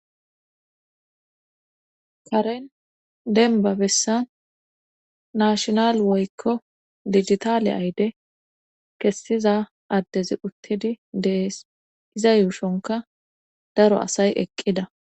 Karen denba bessan nashonal woykko digitaaliya ayde kessiza addezi uttidi dees iza yuushonka daro asay eqqida